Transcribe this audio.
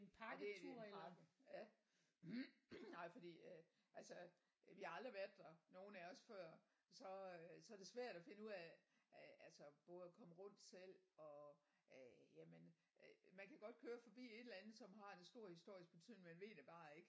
Ja det er en pakke ja nej fordi øh altså vi har aldrig været der nogen af os før så øh så er det svært at finde ud af af altså både at komme rundt selv og øh jamen øh man kan godt køre forbi et eller andet som har en stor historisk betydning man ved det bare ikke